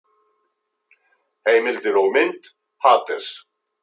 Heimildir og mynd: Hades.